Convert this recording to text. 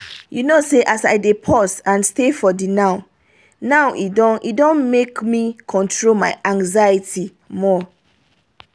you know as i dey pause and stay for the now-now e don e don make me control my anxiety more.